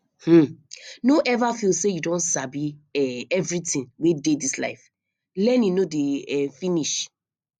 um no ever feel say you don sabi um everything wey dey dis life learning no dey um finish